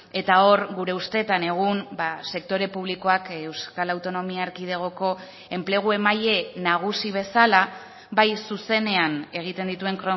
eta hor gure ustetan egun sektore publikoak euskal autonomia erkidegoko enplegu emaile nagusi bezala bai zuzenean egiten dituen